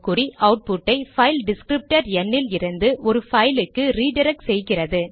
output ஐ file descriptor ந் இலிருந்து ஒரு பைல் க்கு ரிடிரக்ட் செய்கிறது